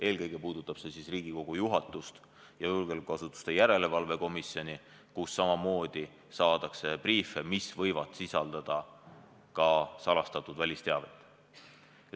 Eelkõige puudutab see Riigikogu juhatust ja julgeolekuasutuste järelevalve komisjoni, kus samamoodi saadakse briife, mis võivad sisaldada ka salastatud välisteavet.